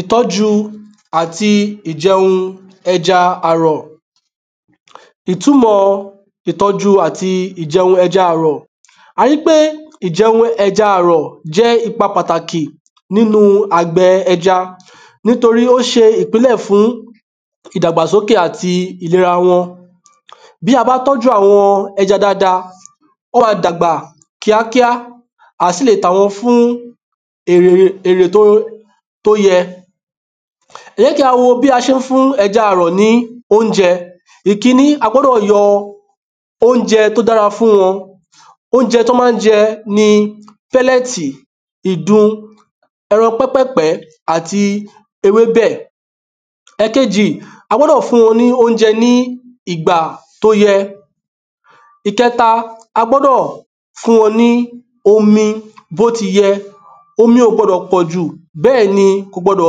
ìtọ́jú àti ìjẹ̀un ẹja àrọ̀ ìtumọ̀ ìtọ́jú àti ìjẹun ẹja àrọ̀, a ríi pé ìjẹ ẹja àrọ̀ jẹ́ ipa pàtàkì nínu àgbẹ̀ ẹja nítorí pé ó ṣe ìpìnlẹ̀ fún ìdàgbàsókè àti ìlera wọn. Bí a bá tọ́ju àwọn ẹja dáadáa, wọ́n máa dàgbà kíàkíà a sì lè tà wọ́n fún èrè tó yẹ. ẹ jẹ́ kí á wo bí a ṣe ń fún ẹja àrọ̀ ni oúnjẹ, ìkíní, a oúnjẹ tí ó dára fún wọn, oúnjẹ tí wọ́n máa jẹ ní pẹ́llẹ̀tì, ìdun, ẹran pẹ́pẹ̀pẹ́, àti ewébẹ̀ ẹ̀kejì, a gbọ́dọ̀ fún wọn ní oúnjẹ nígbà ti o yẹ. ìkẹta, a gbọ́dọ̀ fún wọn lómi bó ti yẹ, omi ò gbọ́dọ̀ pọ̀jù bẹ́ẹ̀ ni kò sì gbọdọ̀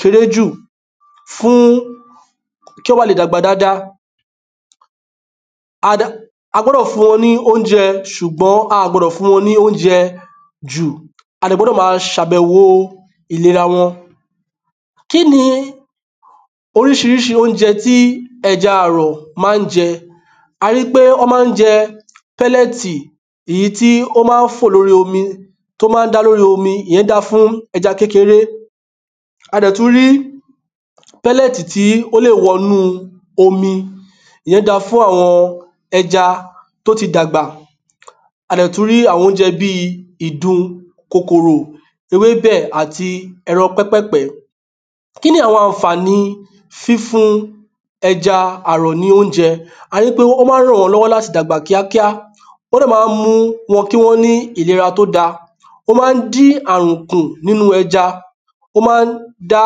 kéré jù fún un kí ó ba lè dàgbà dáadáa a gbọ́dọ̀ fún wọn ní oúnjẹ, ṣùgbọ́n a ò gbọdọ̀ fún wọ́n ní oúnjẹ jù, a dẹ̀ gbọdọ̀ máa ṣe àbẹ̀wò ìlera wọn kíni oríṣiríṣi oúnjẹ tí ẹja àrọ̀ ma ń jẹ, a ríi pé wọ́n ma ń jẹ pẹ́llẹ̀tì, èyí tí ó ma ń fó lóri omi, tó ma ń dà lóri omi, ìyẹn dáa fún ẹja kékeré a dẹ̀ tún rí pẹ́llẹ̀tì tí ó lè wọnú omi, ìyẹn dáa fún àwọn ẹja tó ti dàgbà A dẹ̀ tún rí àwọn oúnjẹ bíi ìdun, kòkòrò, ewébẹ̀ àti ẹran pẹ́pẹ̀pẹ́. Kí wá ni àwọn àǹfàni fífún ẹja àrọ̀ ní oúnjẹ, a ríi pé ó máa ràn wọ́n lọ́wọ́ láti dàgbà kíákíá, ó dẹ̀ ma mú kí wọ́n ní ìlera tí ó dáa ó máa dín àrùn kù níno ẹja, ó ma dá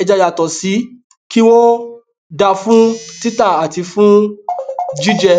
ẹja yàtọ̀ sí kí wọ́n dáa fún títà àti fún jíjẹ